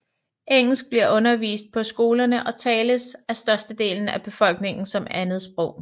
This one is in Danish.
Engelsk bliver undervist på skolen og tales af størsteparten af befolkningen som andresprog